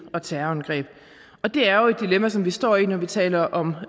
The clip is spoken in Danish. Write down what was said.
og terrorangreb det er jo et dilemma som vi står i når vi taler om